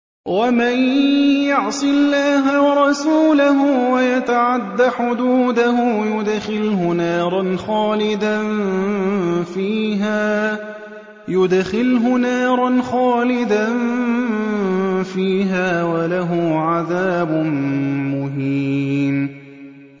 وَمَن يَعْصِ اللَّهَ وَرَسُولَهُ وَيَتَعَدَّ حُدُودَهُ يُدْخِلْهُ نَارًا خَالِدًا فِيهَا وَلَهُ عَذَابٌ مُّهِينٌ